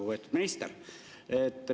Lugupeetud minister!